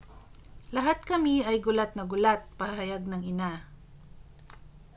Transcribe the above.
lahat kami ay gulat na gulat pahayag ng ina